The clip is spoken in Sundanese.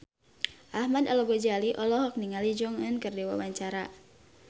Ahmad Al-Ghazali olohok ningali Jong Eun Ji keur diwawancara